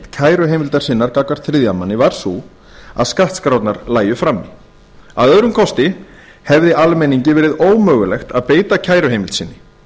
kæruheimildar sinnar gagnvart þriðja manni var sú að skattskrárnar lægju frammi að öðrum kosti hefði almenningi verið ómögulegt að beita kæruheimild sinni